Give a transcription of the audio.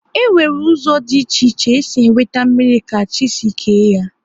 E nwere ụzọ dị iche iche e si enweta mmrir ka chi si kee ya